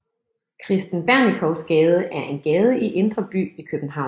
Kristen Bernikows Gade er en gade i Indre By i København